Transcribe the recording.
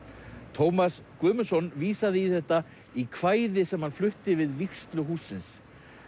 Tómas Guðmundsson vísaði í þetta í kvæði sem hann flutti við vígslu hússins